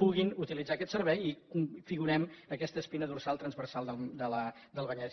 puguin utilitzar aquest servei i configurem aquesta espina dorsal transversal del vallès